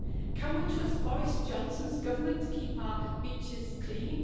Can we trust Boris Johnson's Government to keep our beaches clean?